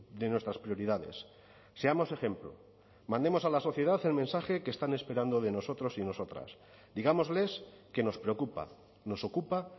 de nuestras prioridades seamos ejemplo mandemos a la sociedad el mensaje que están esperando de nosotros y nosotras digámosles que nos preocupa nos ocupa